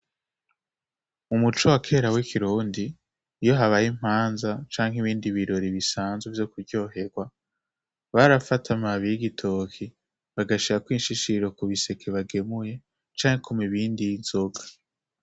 Umuco wakera w'ikirondi iyo habaye impanza canke ibindi birori bisanzwe vyo kuryoherwa barafatamabiy' igitoki bagashia koinshishiro ku biseke bagemuye canke ku mibindi y'inzoga.